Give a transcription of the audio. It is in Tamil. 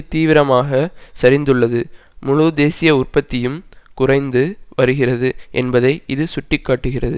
தீவிரமாக சரிந்துள்ளது முழு தேசிய உற்பத்தியும் குறைந்து வருகிறது என்பதை இது சுட்டி காட்டுகிறது